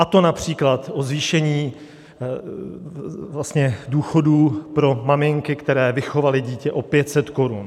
A to například o zvýšení důchodů pro maminky, které vychovaly dítě, o 500 korun.